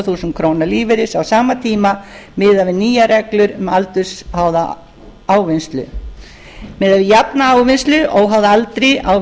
þúsund krónur lífeyris á sama tíma miðað við nýjar reglur um aldursháða ávinnslu miðað við jafna ávinnslu óháð aldri ávinnur